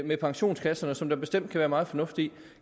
med pensionskasserne som der bestemt kan være meget fornuft i